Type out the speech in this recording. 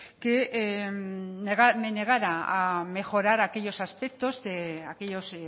que me negara a mejorar aquellos